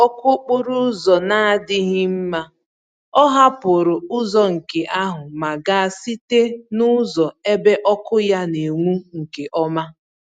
N'ihi ọkụ okporo ụzọ na-adịghị mma, ọ hapụrụ ụzọ nke ahụ ma gaa site nụzọ ebe ọkụ ya n'enwu nke ọma.